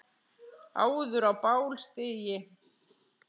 áður á bál stigi